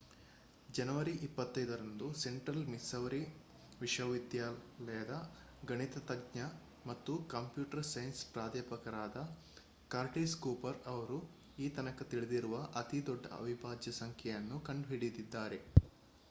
ಜನವರಿ 25 ರಂದು Central Missouri ವಿಶ್ವವಿದ್ಯಾಲಯದ ಗಣಿತಜ್ಞ ಮತ್ತು ಕಂಪ್ಯೂಟರ್ ಸೈನ್ಸ್ ಪ್ರಾಧ್ಯಾಪಕರಾದ ಕರ್ಟಿಸ್ ಕೂಪರ್ ಅವರು ಈತನಕ ತಿಳಿದಿರುವ ಅತಿದೊಡ್ಡ ಅವಿಭಾಜ್ಯ ಸಂಖ್ಯೆಯನ್ನು ಕಂಡುಹಿಡಿದಿದ್ದಾರೆ